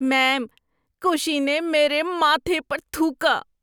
میم، کشی نے میرے ماتھے پر تھوکا۔